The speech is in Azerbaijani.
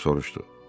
Hersoq soruşdu.